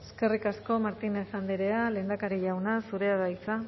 eskerrik asko martínez andrea lehendakari jauna zurea da hitza